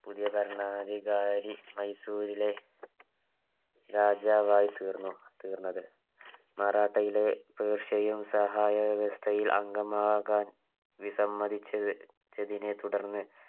പുതിയ ഭരണാധികാരി മൈസൂറിലെ രാജാവായി തീർന്നു തീർന്നത് മറാത്തയിലെ പേർഷ്യയും സഹായ വ്യവസ്ഥയിൽ അംഗമാകാൻ വിസമ്മതിച്ചതിനെ തുടർന്ന്